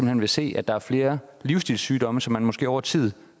hen vil se at der er flere livsstilssygdomme som man måske over tid